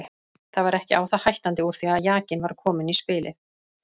Það var ekki á það hættandi úr því að jakinn var kominn í spilið.